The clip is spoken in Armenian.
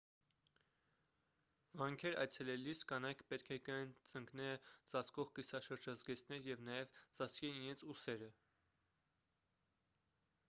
վանքեր այցելելիս կանայք պետք է կրեն ծնկները ծածկող կիսաշրջազգեստներ և նաև ծածկեն իրենց ուսերը